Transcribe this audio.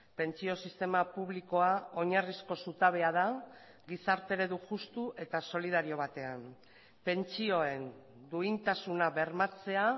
pentsio sistema publikoa oinarrizko zutabea da gizarte eredu justu eta solidario batean pentsioen duintasuna bermatzea